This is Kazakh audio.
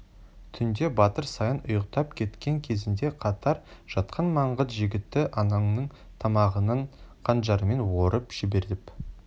түнде батыр саян ұйықтап кеткен кезінде қатар жатқан маңғыт жігіті ананың тамағынан қанжарымен орып жіберіп